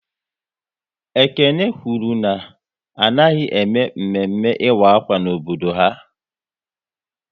Ekene kwụrụ na anaghịzi ème Mme mme ịkwa ákwá n'obodo ha